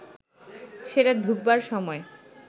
সেটা ঢুকবার সময়